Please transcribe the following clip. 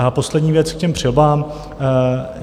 A poslední věc k těm přilbám.